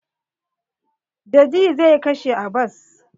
Daji zai kashe Abbas.